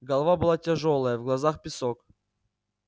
голова была тяжёлая в глазах песок